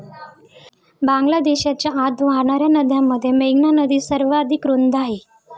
बांगलादेशच्या आत वाहणाऱ्या नद्यांमध्ये मेघना नदी सर्वाधिक रुंद आहे.